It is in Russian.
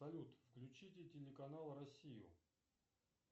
салют включите телеканал россию